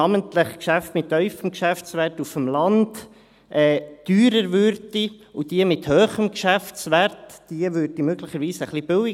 Denn namentlich Geschäfte mit tiefem Geschäftswert auf dem Land würden teurer, und diejenigen mit hohem Geschäftswert würden möglicherweise etwas billiger.